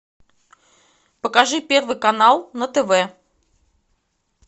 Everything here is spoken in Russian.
покажи первый канал на тв